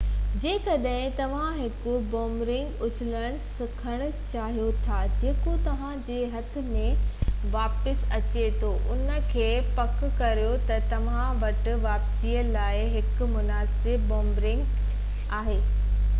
جيڪڏهن توهان هڪ بُومرينگ اُڇلڻ سکڻ چاهيو ٿا جيڪو توهان جي هٿ ۾ واپس اچي ٿو انهي کي پڪ ڪريو ته توهان وٽ واپسي لاءِ هڪ مناسب بُومرينگ آهي